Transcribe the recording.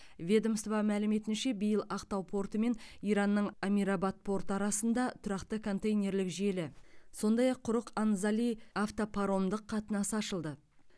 ведомство мәліметінше биыл ақтау порты мен иранның амирабад порты арасында тұрақты контейнерлік желі сондай ақ құрық анзали автопаромдық қатынасы ашылды